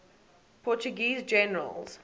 portuguese generals